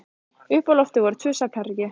Uppi á lofti voru tvö svefnherbergi.